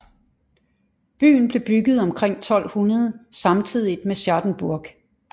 Byen blev bygget omkring 1200 samtidigt med Schattenburg